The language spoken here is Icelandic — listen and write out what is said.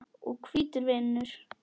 og hvítur vinnur.